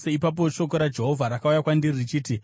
Ipapo shoko raJehovha rakauya kwandiri, richiti,